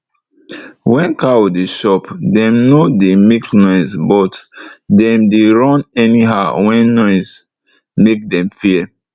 wen cow dey chop dem nor dey make noise but dem dey run anyhow wen noise make dem fear